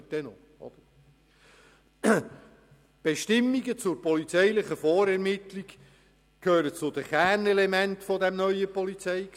Die Bestimmungen zur polizeilichen Vorermittlung gehören zu den Kernelementen dieses neuen PolG.